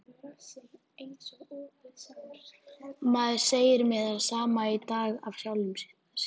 Maður segir mér það sama í dag af sjálfum sér.